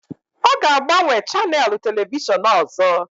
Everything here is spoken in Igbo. Ọ ga-agbanwe chanèlụ telivishọn ọzọ